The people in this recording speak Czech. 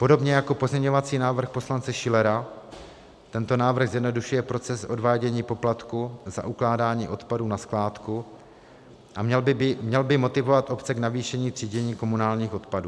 Podobně jako pozměňovací návrh poslance Schillera tento návrh zjednodušuje proces odvádění poplatku za ukládání odpadu na skládku a měl by motivovat obce k navýšení třídění komunálních odpadů.